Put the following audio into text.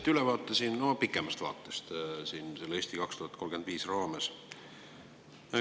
Te andsite siin ülevaate pikemast vaatest "Eesti 2035" raames.